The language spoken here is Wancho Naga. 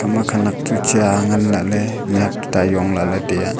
ema khanak chu cha ngan la lah mihhuak tuta jong la le taiyaa.